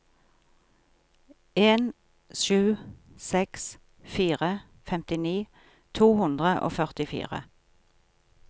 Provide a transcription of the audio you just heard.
en sju seks fire femtini to hundre og førtifire